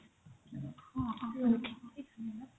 ହଁ